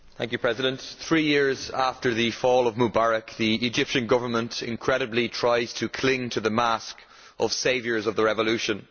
Madam President, three years after the fall of Mubarak, the Egyptian Government, incredibly, is trying to cling to the mask of saviours of the revolution.